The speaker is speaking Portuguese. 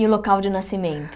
E o local de nascimento?